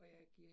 Ja